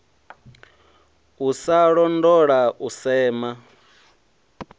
u sa londola u sema